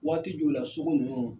Waati jɔw la sugu ninnu